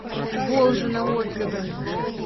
волжино отзывы